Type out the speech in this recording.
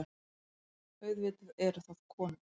Auðvitað eru það konur.